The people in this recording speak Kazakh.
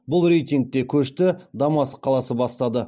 бұл рейтингте көшті дамаск қаласы бастады